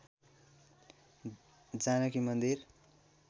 जानकी मन्दिर